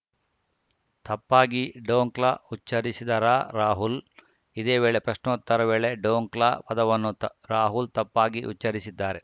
ತಪ್ಪಾಗಿ ಡೋಕ್ಲಾ ಉಚ್ಛರಿಸಿದರಾ ರಾಹುಲ್‌ ಇದೇ ವೇಳೆ ಪ್ರಶ್ನೋತ್ತರ ವೇಳೆ ಡೋಕ್ಲಾ ಪದವನ್ನು ರಾಹುಲ್‌ ತಪ್ಪಾಗಿ ಉಚ್ಛರಿಸಿದ್ದಾರೆ